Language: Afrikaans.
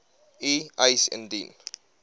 u eis indien